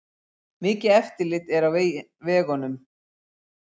Mikið eftirlit er á vegunum